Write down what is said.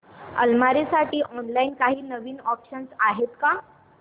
अलमारी साठी ऑनलाइन काही नवीन ऑप्शन्स आहेत का